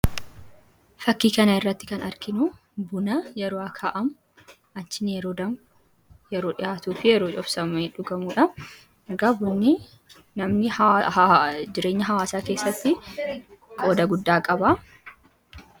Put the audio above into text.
Fakkii kanarratti kan arginu buna yeroo akaa'amu, yeroo danfu, yeroo dhiyaatuu fi yeroo buufamee dhugamuudha. Egaa bunni namni jireenya hawaasaa keessatti qooda guddaa qaba.